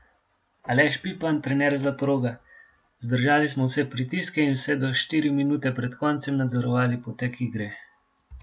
Aleš Pipan, trener Zlatoroga: "Zdržali smo vse pritiske in vse do štiri minute pred koncem nadzorovali potek igre.